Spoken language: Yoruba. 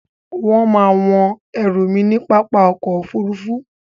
Wón má a wọ́n ẹrù mi ní pápá ọkò òfurufú.